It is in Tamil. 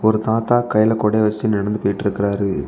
ஒரு தாத்தா கையில கொட வச்சுட்டு நடந்து போயிட்ருக்காரு.